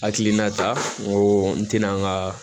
Hakilina ta n ko n tɛna n ka